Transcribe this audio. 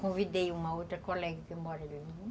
Convidei uma outra colega que mora ali.